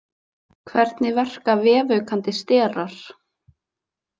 Hvernig verka vefaukandi sterar?